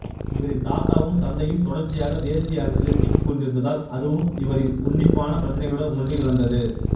இவரின் தாத்தாவும் தந்தையும் தொடர்ச்சியாக தேசிய அரசியலில் சிக்கிக் கொண்டிருந்ததால் அதுவும் இவரின் உன்னிப்பான பிரச்சனைகளுடன் ஒன்றி கலந்தது